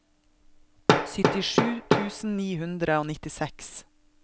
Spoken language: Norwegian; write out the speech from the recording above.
syttisju tusen ni hundre og nittiseks